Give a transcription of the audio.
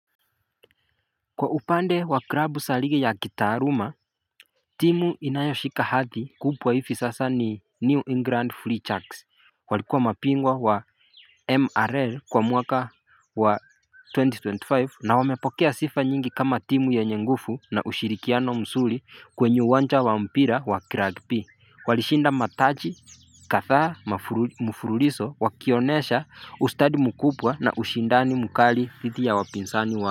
Kwa upande wa krabu saligi ya kitaaruma timu inayoshika hathi kubwa hivi sasa ni New England Free Chucks walikua mapingwa wa MRL kwa mwaka wa twenty twenty five na wamepokea sifa nyingi kama timu nyenye ngufu na ushirikiano msuri kwenye uwanja wa mpira wa kragpi Walishinda mataji kathaa mafru mfuruliso wakionesha ustadi mkupwa na ushindani mkali thidi ya wapinsani wa.